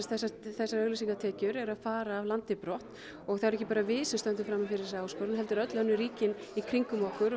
þessu þessar auglýsingatekjur eru að fara af landi brott og það erum ekki bara við sem stöndum frammi fyrir þessari áskorun heldur öll önnur ríki í kringum okkur